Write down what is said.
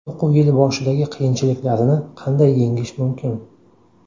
O‘quv yili boshidagi qiyinchiliklarini qanday yengish mumkin?.